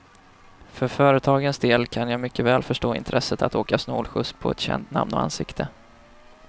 För företagens del kan jag mycket väl förstå intresset att åka snålskjuts på ett känt namn och ansikte.